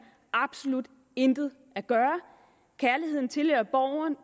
absolut intet at gøre kærligheden tilhører